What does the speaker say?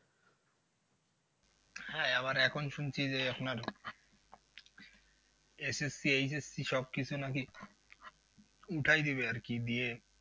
হ্যাঁ আবার এখন শুনছি যে আপনার SSC, HSC সব কিছু নাকি উঠাই দেবে আর কি দিয়ে